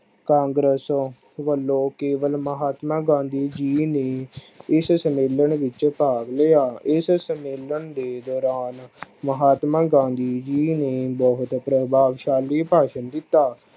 ਕਾਂਗਰਸ ਵਲੋਂ ਕੇਵਲ ਮਹਾਤਮਾ ਗਾਂਧੀ ਜੀ ਨੂੰ ਇਸ ਸੰਮੇਲਨ ਵਿਚ ਭਾਗ ਲਿਆ L ਏਸ ਸੰਮੇਲਨ ਦੇ ਦੌਰਾਨ ਮਹਾਤਮਾ ਗਾਂਧੀ ਜੀ ਨੇ ਬਹੁਤ ਪ੍ਰਭਾਵਸਾਲੀ ਭਾਸ਼ਣ ਦਿਤਾ।